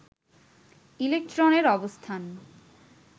ইলেকট্রনের অবস্থান